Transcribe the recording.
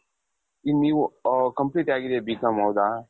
ಈಗ ನೀವು complete ಆಗಿದೆ B.com ಹೌದ ?